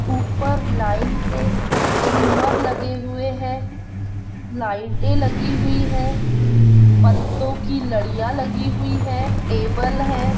ऊपर लाइन से झूमर लगे हुये है लाइटे लगी हुई है पतों की लड़ियाँ लगी हुई है टेबल है।